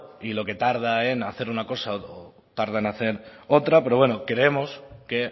y lo que tarda en hacer una cosa o tarda en hacer otra pero bueno creemos que